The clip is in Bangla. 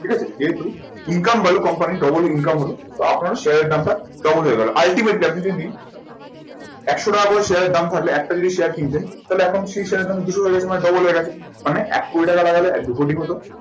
ঠিক আছে যেহেতু income value company double income হবে তখন আপনার share এর দামটা double হয়ে গেলো ultimately আপনি যদি একশো টাকা করে share এর দাম থাকলে একটা যদি share কিনতেন তাহলে এখন সেই share এর দাম দুশো double হয়ে গেছে মানে এক কোটি লাগালে দুকোটি হতো।